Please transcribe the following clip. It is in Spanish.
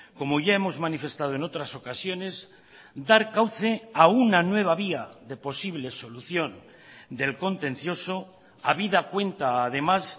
como ya hemos manifestado en otras ocasiones dar cauce a una nueva vía de posible solución del contencioso habida cuenta además